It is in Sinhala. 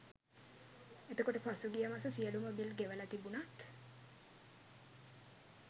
එතකොට පසුගිය මස සියලුම බිල් ගෙවල තිබුණත්